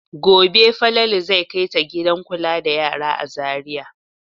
Gobe Falalu zai kai ta gidan kula da yara a Zariya.